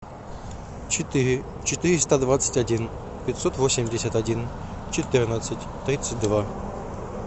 четыре четыреста двадцать один пятьсот восемьдесят один четырнадцать тридцать два